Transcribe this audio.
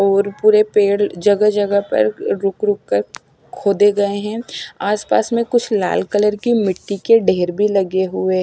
और पूरे पेड़ जगह जगह पर रुक रुक कर खोदे गए है आस पास में कुछ लाल कलर की मिट्टी के ढेर भी लगे हुए--